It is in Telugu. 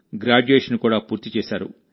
గ్రాడ్యుయేషన్ కూడా పూర్తి చేశారు